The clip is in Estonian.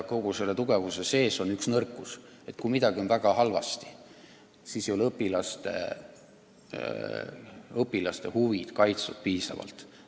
Kogu selle tugevuse juures aga on üks nõrkus: kui midagi on õppetööga väga halvasti, siis ei ole õpilaste huvid piisavalt kaitstud.